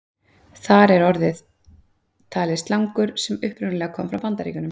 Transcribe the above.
Þar er orðið talið slangur sem upprunalega komi frá Bandaríkjunum.